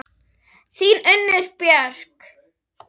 Þín, Unnur Björk.